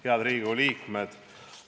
Head Riigikogu liikmed!